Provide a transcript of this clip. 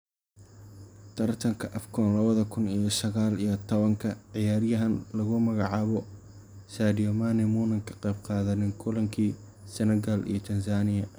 Taratanka AFCON lawadha kun iyo saqal iyo tawanka ciyarahan laku magacabo Saidio Manie munan kaqebgadhanin kulanki Senegal iyo Tanzania.